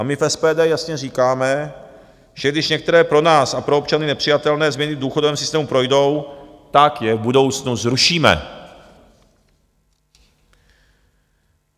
A my v SPD jasně říkáme, že když některé pro nás a pro občany nepřijatelné změny v důchodovém systému projdou, tak je v budoucnu zrušíme.